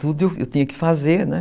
Tudo eu tinha que fazer, né?